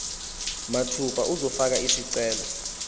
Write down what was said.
mathupha uzofaka isicelo